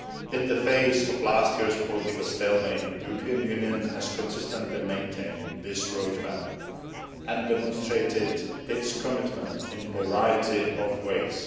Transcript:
In the face of last year's political stalemate the European Union has consistently maintained this road map and demonstrated its commitment in a variety of ways.